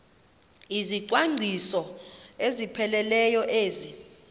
izicwangciso ezipheleleyo ezi